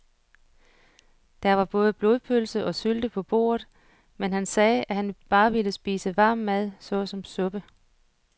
Der var både blodpølse og sylte på bordet, men han sagde, at han bare ville spise varm mad såsom suppe.